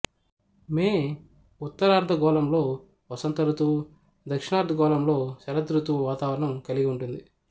మే ఉత్తరార్ధగోళంలో వసంత ఋతువు దక్షిణార్ధగోళంలో శరదృతువు వాతావరణం కలిగి ఉంటుంది